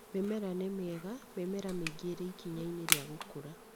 Mĩmera nĩ mĩega, mĩmera mĩingĩ ĩrĩ ikinya-inĩ rĩa gũkũra